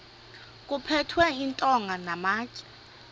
kuphethwe iintonga namatye